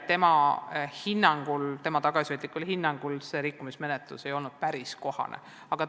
Seda arvas ka spetsialist, kes kultuurikomisjonis nendele küsimustele vastas.